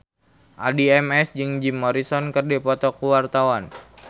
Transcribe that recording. Addie MS jeung Jim Morrison keur dipoto ku wartawan